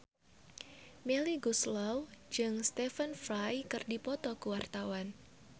Melly Goeslaw jeung Stephen Fry keur dipoto ku wartawan